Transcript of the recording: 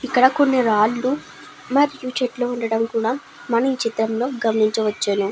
ఇక్కడ కొని రాలు మరియు చెట్లు వుండడం కూడా మనం ఈ చిత్రం లో కూడా గమనించవచ్చును.